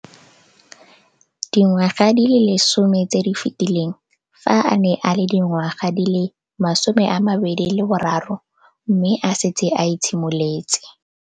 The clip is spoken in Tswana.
Dingwaga di le 10 tse di fetileng, fa a ne a le dingwaga di le 23 mme a setse a itshimoletse.